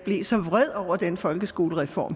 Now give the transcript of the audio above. blev så vred over den folkeskolereform